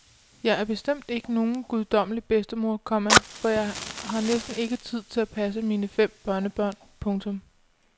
Jeg er bestemt ikke nogen guddommelig bedstemor, komma for jeg har næsten ikke tid til at passe mine fem børnebørn. punktum